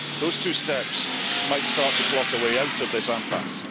Those two steps might be a start to plot a way out of this impasse.